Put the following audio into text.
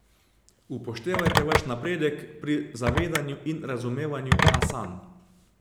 Upoštevajte vaš napredek pri zavedanju in razumevanju asan.